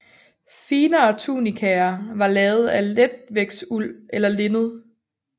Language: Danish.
Finere tunikaer var lavet af letvægtsuld eller linned